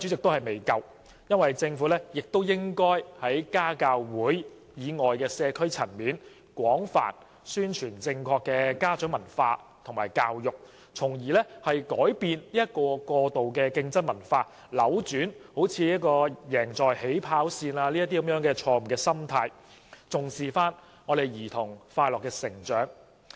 我認為政府應該在家教會以外的社區層面，廣泛宣傳正確的家長文化和教育，從而改變過度競爭的文化，扭轉例如"贏在起跑線"的錯誤心態，重視兒童的快樂成長。